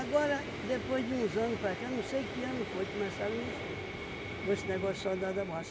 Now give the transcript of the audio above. depois de uns anos para cá, não sei que ano foi, começaram a mexer com esse negócio soldado da borracha.